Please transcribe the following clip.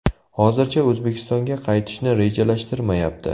Hozircha O‘zbekistonga qaytishni rejalashtirishmayapti.